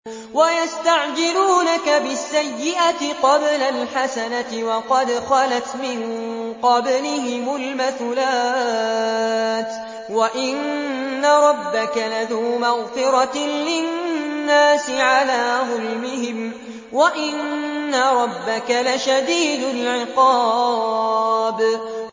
وَيَسْتَعْجِلُونَكَ بِالسَّيِّئَةِ قَبْلَ الْحَسَنَةِ وَقَدْ خَلَتْ مِن قَبْلِهِمُ الْمَثُلَاتُ ۗ وَإِنَّ رَبَّكَ لَذُو مَغْفِرَةٍ لِّلنَّاسِ عَلَىٰ ظُلْمِهِمْ ۖ وَإِنَّ رَبَّكَ لَشَدِيدُ الْعِقَابِ